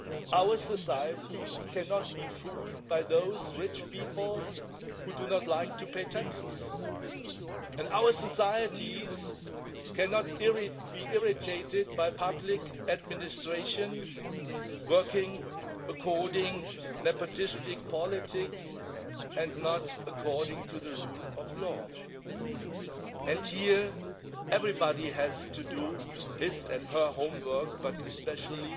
Our societies cannot be fooled by those rich people who do not like to pay taxes and our societies cannot be irritated by public administrations working according to nepotistic politics and not according to the rule of law. Here everybody has to do his and her homework, but especially